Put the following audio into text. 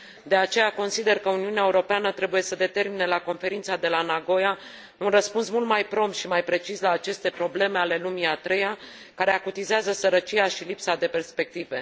De aceea, consider că Uniunea Europeană trebuie să determine la Conferința de la Nagoya un răspuns mult mai prompt și mai precis la aceste probleme ale lumii a treia care acutizează sărăcia și lipsa de perspective.